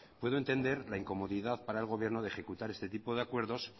puede entender la incomodidad para el gobierno de ejecutar este tipo de acuerdos